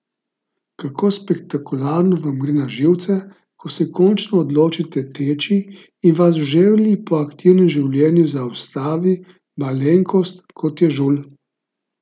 Kako spektakularno vam gre na živce, ko se končno odločite teči in vas v želji po aktivnem življenju zaustavi malenkost kot je žulj?